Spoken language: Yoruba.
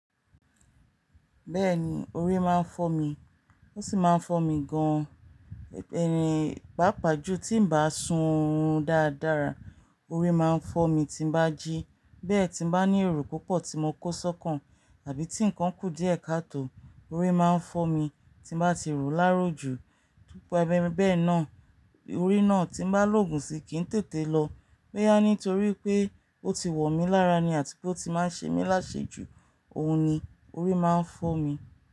Bẹ́ẹ̀ni, orí máa ń fọ́ mi. Ó sì máa ń fọ́ mi gan-an. Ẹ̀-ìn, pàápàá jù tí ń bá sun oorun dáradára, orí máa ń fọ́ mi tí ń bá jí. Bẹ́ẹ̀ tí ń bá ní èrò púpọ̀ tí mo kó sọ́kàn àbí tí ǹkan kù díẹ̀ káàtó, orí máa ń fọ́ mi tí ń bá ti ròó lárò jù. Nípa ẹbẹ̀ bẹ́ẹ̀ náà, orí náà tí ń bá lògún sí i kì í tètè lọ. Bóyá nítorí pé ó ti wọ̀ mí lára ni àti pé ó ti máa ń ṣe mí láṣe jù, òun ni orí máa ń fọ́ mi.